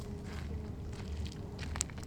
какие музыканты играют в клубах